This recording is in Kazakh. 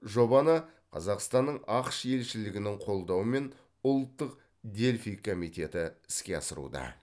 жобаны қазақстанның ақш елшілігінің қолдауымен ұлттық дельфий комитеті іске асыруда